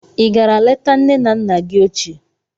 Ị gara leta nne na nna gị ochie